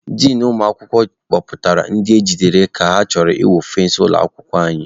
Din ụmụ akwụkwọ kpọpụtara ndị e jidere ka ha chọrọ ịwụ fensị ụlọ akwụkwọ ụnyaahụ.